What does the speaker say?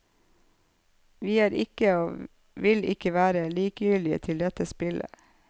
Vi er ikke, og vil ikke være, likegyldige til dette spillet.